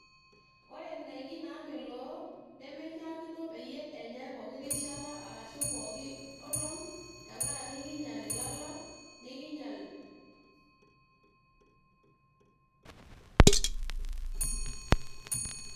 ore indaiki nemeishakino peyie enyai poki rishata arashu pooki olong tenkaraki kinyial ilala nikinyial.